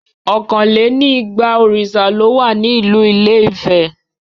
Ọkàn lè ní igba òrìṣà ló wà ní ìlú ilé ìfẹ́.